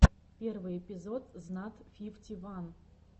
первый эпизод знат фифти ван